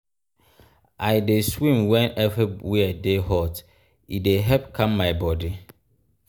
i dey swim wen everywhere dey hot e dey help calm my bodi.